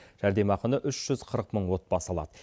жәрдемақыны үш жүз қырық мың отбасы алады